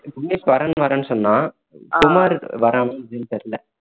விக்னேஷ்வரன் வரேன்ணு சொன்னான் குமார் வரனா எப்படின்னு தெரியல